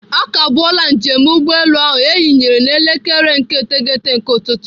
Akagbuola njem ụgbọelu ahụ eyinyere n'elekere nke iteghete nke ụtụtụ.